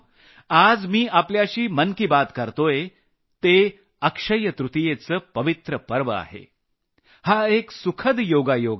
आज मी आपल्याशी मन की बात करतोय हे अक्षय्य तृतीयेचे पवित्र पर्व आहे हा एक सुखद योगायोग आहे